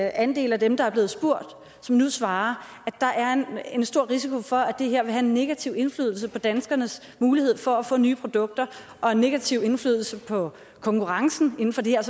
andel af dem der er blevet spurgt nu svarer at der er en stor risiko for at det her vil have en negativ indflydelse på danskernes mulighed for at få nye produkter og en negativ indflydelse på konkurrencen inden for det her